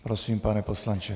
Prosím, pane poslanče.